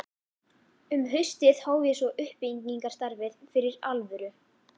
Um haustið hóf ég svo uppbyggingarstarfið fyrir alvöru.